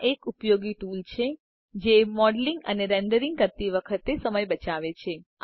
આ એક ઉપયોગી ટુલ છે જે મોડેલીંગ અને રેન્ડરીંગ કરતી વખતે સમય બચાવે છે